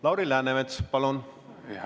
Lauri Läänemets, palun!